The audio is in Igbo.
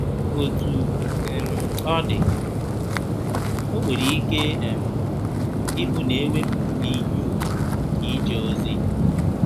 Otú um ọ dị, o nwere ike um ịbụ na e wepụrụ gị ihe ùgwù nke ije ozi.